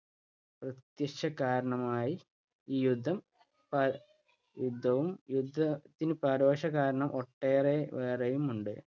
പ്രത്യക്ഷകാരണമായി ഈ യുദ്ധം യുദ്ധവും യുദ്ധത്തിനു പരോക്ഷ കാരണം ഒട്ടേറെ വേറെയും ഉണ്ട്.